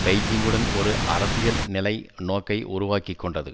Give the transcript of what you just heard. பெய்ஜிங்குடன் ஒரு அரசியல் நிலை நோக்கை உருவாக்கி கொண்டது